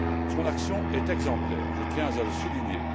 Son action est exemplaire, je tiens à le souligner.